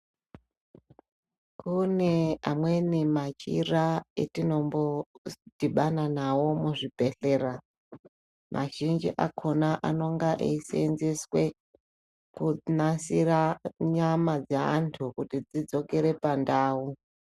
Kune amweni machira etinombodhibana nawo muzvibhedhlera mazhinji akhona nonga eiseenzeswe kunasira nyama dzeanthu kuti dzidzokere pandau.